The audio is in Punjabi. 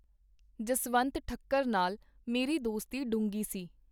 ਜਸਵੰਤ ਠੱਕਰ ਨਾਲ ਮੇਰੀ ਦੋਸਤੀ ਡੂੰਘੀ ਸੀ.